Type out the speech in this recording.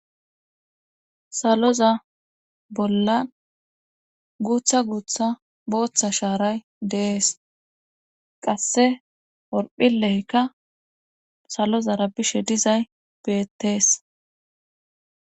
saloza bollan guutha guutha booththa shaaray deees qasse orphileyka salozara bishe dizay beettees